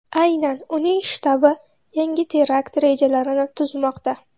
Aynan uning shtabi yangi terakt rejalarini tuzmoqda.